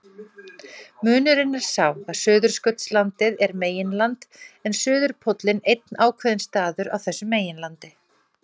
Munurinn er sá að Suðurskautslandið er meginland en suðurpóllinn einn ákveðinn staður á þessu meginlandi.